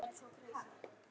Væri það fallegt af mér?